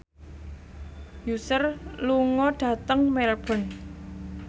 Usher lunga dhateng Melbourne